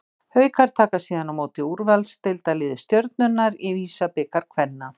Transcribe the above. Haukar taka síðan á móti úrvalsdeildarliði Stjörnunnar í VISA-bikar kvenna.